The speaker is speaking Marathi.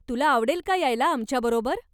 तुला आवडेल का यायला आमच्याबरोबर?